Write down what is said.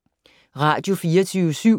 Radio24syv